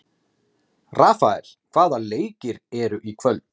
Rafael, hvaða leikir eru í kvöld?